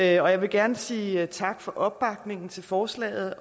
jeg vil gerne sige tak for opbakningen til forslaget